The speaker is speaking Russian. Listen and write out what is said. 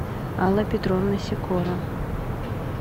алла петровна сикора